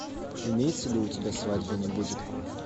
имеется ли у тебя свадьбы не будет